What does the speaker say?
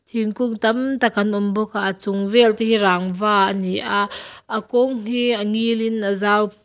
thingkung tam tak an awm bawk a a chung vel te hi rangva ani a a kawng hi a ngil in a zau.